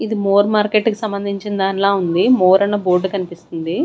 ఇది మోర్ మార్కెట్కి సంబంధించిన దాన్లా ఉంది మోర్ అన్న బోర్డు కనిపిస్తుంది.